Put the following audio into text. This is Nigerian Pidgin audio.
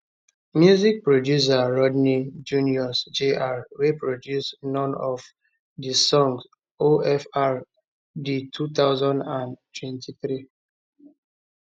music producer rodney jones jr wey produce none of di songs ofr di 2023